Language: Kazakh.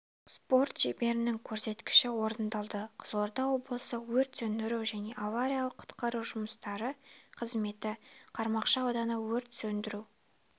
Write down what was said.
спорт шеберінің көрсеткіші орындалды қызылорда облысы өрт сөндіру және авариялық-құтқару жұмыстары қызметі қармақшы ауданы өрт сөндіру